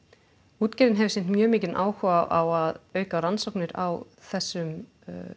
útgerðin hefur sýnt mjög mikinn áhuga á að auka rannsóknir á þessum